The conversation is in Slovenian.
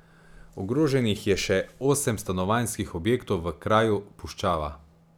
Ogroženih je še osem stanovanjskih objektov v kraju Puščava.